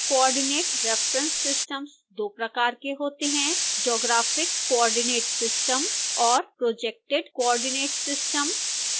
coordinate reference systems दो प्रकार के होते हैं